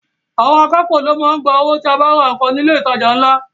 Àwọn akápò ló ń gba owó tí o bá ra nǹkan ní ilé ìtajà ńlá